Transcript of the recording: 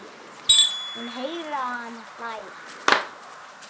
Hún heyrir að hann hlær.